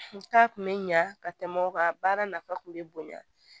Taa kun bɛ ɲa ka tɛmɛ o kan baara nafa kun bɛ bonya